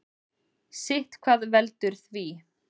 Sitthvað veldur því.